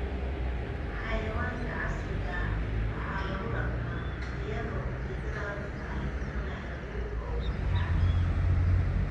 Xayawaanka casriga ah waxaa lagu dhaqmaa iyadoo ujeedadu tahay in la helo hilibka ugu fiican.